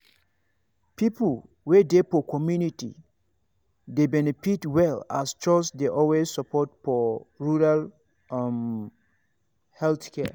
people wey dey for community dey benefit well as chws dey always support for rural um health care.